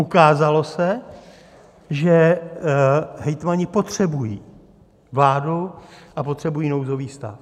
Ukázalo se, že hejtmani potřebují vládu a potřebují nouzový stav.